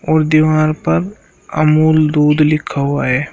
और दीवार पर अमूल दूध लिखा हुआ है।